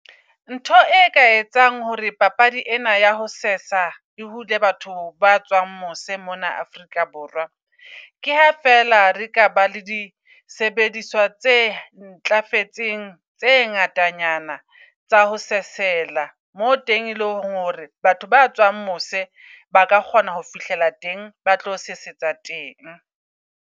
Ntho e ka etsang hore papadi ena ya ho sesa e hule batho ba tswang mose mona Afrika Borwa. Ke ha fela re ka ba le disebediswa tse ntlafetseng tse ngatanyana tsa ho sesela. Moo teng eleng hore batho ba tswang mose baka kgona ho fihlela teng, ba tlo sesetsa teng.